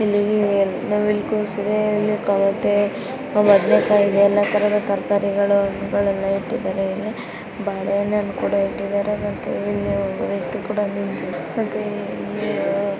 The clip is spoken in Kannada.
ಇಲ್ಲಿ ನವಿಲುಕೋಸು ಇದೆ ಇಲ್ಲಿ ತಮಟೆ ಬದನೆಕಾಯಿ ಇದೆ ಎಲ್ಲಾ ತರದ ತರಕಾರಿಗಳು ಹಣ್ಣುಗಳು ಎಲ್ಲಾ ಇಟ್ಟಿದ್ದಾರೆ ಇಲ್ಲಿ ಇಲ್ಲಿ ಬಾಳೆಹಣ್ಣು ಕೂಡ ಇಟ್ಟಿದ್ದಾರೆ ಇಲ್ಲಿ ಮತ್ತೆ ಒಬ್ಬ ವ್ಯಕ್ತಿ ಕೂಡ ನಿಂತಿದ್ದಾನೆ .